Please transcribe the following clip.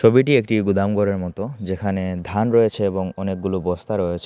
ছবিটি একটি গুদাম ঘরের মতো যেখানে ধান রয়েছে এবং অনেকগুলো বস্তা রয়েছে।